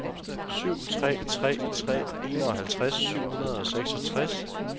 syv tre tre tre enoghalvtreds syv hundrede og seksogtres